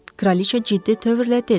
Kraliça ciddi tövrlə dedi.